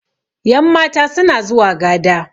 yanmata suna zuwa gada